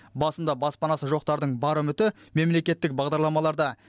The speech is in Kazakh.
басында баспанасы жоқтардың бар үміті мемлекеттік бағдарламаларда